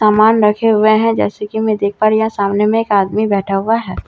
सामान रखे हुए हैं जैसे की मैं देख पा रही हूँ यहाँ सामने में एक आदमी बैठा हुआ हैं --